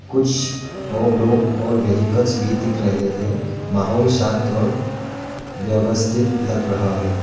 कुछ और लोग और व्हेइकल्स भी दिख रहे हैं माहौल शांत और व्यवस्थित लग रहा है।